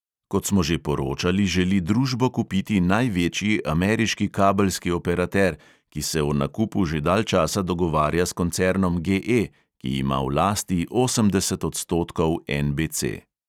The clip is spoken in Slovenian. Kot smo že poročali, želi družbo kupiti največji ameriški kabelski operater, ki se o nakupu že dalj časa dogovarja s koncernom GE, ki ima v lasti osemdeset odstotkov NBC.